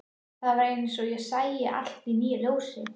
Það var eins og ég sæi allt í nýju ljósi.